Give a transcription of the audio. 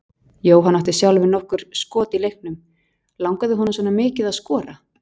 Jóhann átti sjálfur nokkur skot í leiknum, langaði honum svona mikið að skora?